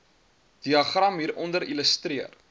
diagram hieronder illustreer